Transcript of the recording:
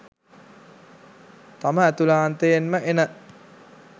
තම ඇතුලාන්තයෙන්ම එන